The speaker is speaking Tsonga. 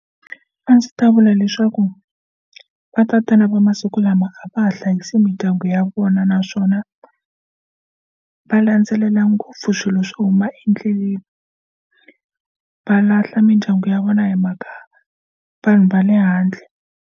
A ndzi ta vula leswaku va tatana va masiku lama a va ha hlayisa mindyangu ya vona naswona va landzelela ngopfu swilo swo huma endleleni va lahla mindyangu ya vona hi mhaka vanhu va le handle.